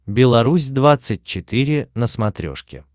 беларусь двадцать четыре на смотрешке